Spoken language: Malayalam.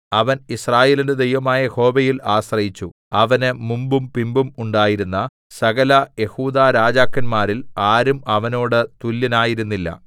അവൻ യിസ്രായേലിന്റെ ദൈവമായ യഹോവയിൽ ആശ്രയിച്ചു അവന് മുമ്പും പിമ്പും ഉണ്ടായിരുന്ന സകലയെഹൂദാ രാജാക്കന്മാരിൽ ആരും അവനോട് തുല്യനായിരുന്നില്ല